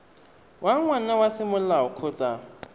wa ngwana wa semolao kgotsa